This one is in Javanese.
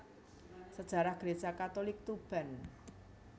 Sejarah Gereja Katolik Tuban